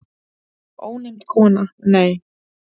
Ónefnd kona: Nei.